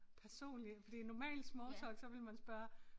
Personlig fordi i normal small talk så ville man spørge